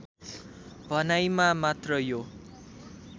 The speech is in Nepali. भनाईमा मात्र यो